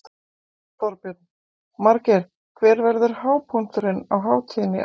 Þorbjörn: Margeir, hver verður hápunkturinn á hátíðinni í ár?